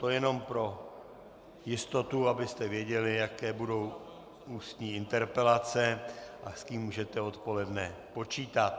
To jenom pro jistotu, abyste věděli, jaké budou ústní interpelace a s kým můžete odpoledne počítat.